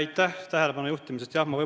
Aitäh tähelepanu juhtimise eest!